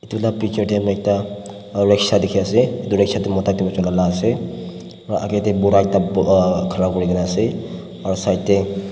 itu la picture teh mui ekta reksha dikhi ase itu reksha teh mota chula ase aru agey deh bura ekta buka kharapurigena ase aru kinar teh.